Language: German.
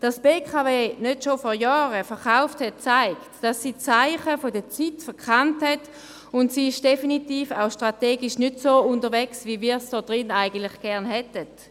Dass die BKW nicht bereits vor Jahren verkauft hat, zeigt, dass sie die Zeichen der Zeit verkannt hat, und sie ist definitiv strategisch auch nicht so unterwegs, wie wir in diesen Saal dies gerne hätten.